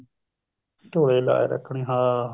ਧੋਲਿਆਂ ਦੀ ਲਾਜ ਰੱਖਣੀ ਹਾਂ